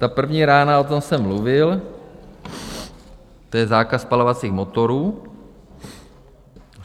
Ta první rána, o tom jsem mluvil, to je zákaz spalovacích motorů.